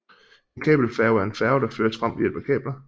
En kabelfærge er en færge der føres frem ved hjælp af kabler